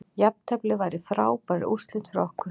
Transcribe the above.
Jafntefli væri frábær úrslit fyrir okkur